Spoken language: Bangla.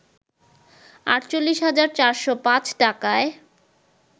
৪৮ হাজার ৪০৫ টাকায়